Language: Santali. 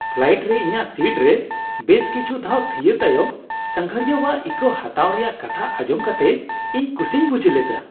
ᱯᱷᱞᱟᱭᱤᱴ ᱨᱮ ᱤᱧᱟᱹᱜ ᱥᱤᱴ ᱨᱮ ᱵᱮᱥ ᱠᱤᱪᱷᱩ ᱫᱷᱟᱣ ᱛᱷᱤᱭᱟᱹ ᱛᱟᱭᱚᱢ ᱥᱟᱸᱜᱷᱟᱨᱤᱭᱟᱹᱣᱟᱜ ᱤᱠᱟᱹ ᱦᱟᱛᱟᱣ ᱨᱮᱭᱟᱜ ᱠᱟᱛᱷᱟ ᱟᱸᱡᱚᱢ ᱠᱟᱛᱮ ᱤᱧ ᱠᱩᱥᱤᱧ ᱵᱩᱡᱷ ᱞᱮᱫᱟ ᱾